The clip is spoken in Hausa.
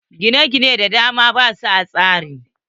Gina gine da dama basu a tsari.